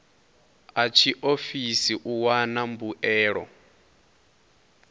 a tshiofisi u wana mbuelo